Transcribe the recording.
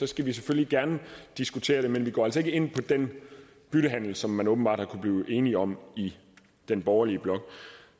skal vi selvfølgelig gerne diskutere det men vi går altså ikke ind på den byttehandel som man åbenbart har kunnet blive enige om i den borgerlige blok